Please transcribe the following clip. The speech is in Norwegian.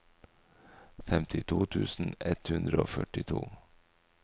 femtito tusen ett hundre og førtito